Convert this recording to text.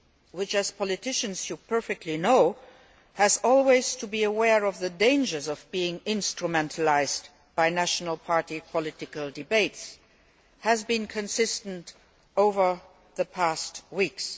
which, as politicians, you know perfectly well must always be aware of the dangers of being instrumentalised by national party political debates has been consistent over the past weeks.